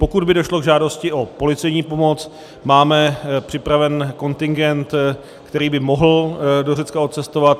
Pokud by došlo k žádosti o policejní pomoc, máme připraven kontingent, který by mohl do Řecka odcestovat.